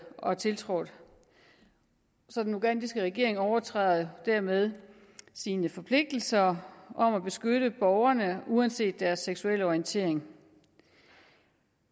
og tiltrådt den ugandiske regering overtræder dermed sine forpligtelser om at beskytte borgerne uanset deres seksuelle orientering